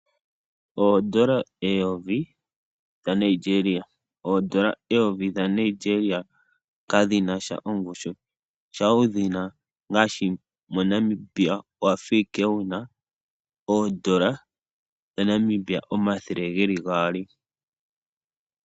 Oondola eyovi dhaNigeria, oondola eyovi dhaNigeria kadhinasha ongushu, uuna wudhina naashi moNamibia owafa ashike wuna oodola dhaNamibia omathele geli gaali.